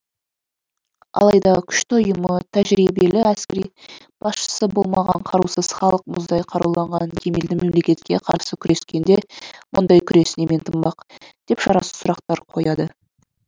алайда күшті ұйымы тәжірибелі әскери басшысы болмаған қарусыз халық мұздай қаруланған кемелді мемлекетке қарсы күрескенде мұндай күрес немен тынбақ деп шарасыз сұрақтар қояды